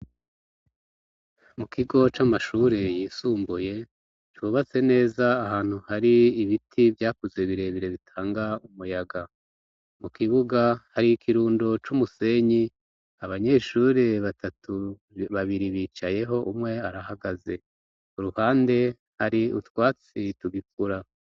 Mu kigo c'amashure yisumbuye cubatse neza ahantu hari ibiti vyakuze birebire bitanga umuyaga mu kibuga hari ikirundo c'umusenyi abanyeshuri batatu babiri bicayeho umwe arahagaze uruhande hari utwae se tubikora.